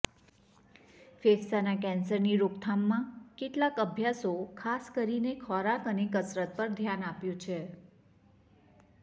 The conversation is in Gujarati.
ફેફસાના કેન્સરની રોકથામમાં કેટલાક અભ્યાસો ખાસ કરીને ખોરાક અને કસરત પર ધ્યાન આપ્યું છે